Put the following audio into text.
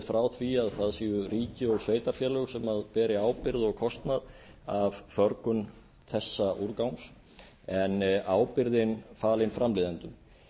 frá því að það séu ríki og sveitarfélög sem beri ábyrgð og kostnað af förgun þessa úrgangs en ábyrgðin falin framleiðendum